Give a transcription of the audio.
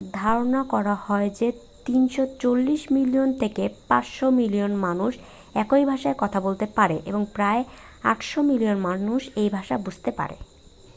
ধারণা করা হয় যে 340 মিলিয়ন থেকে 500 মিলিয়ন মানুষ এই ভাষায় কথা বলতে পারে এবং প্রায় 800 মিলিয়ন মানুষ এ ভাষা বুঝতে পারে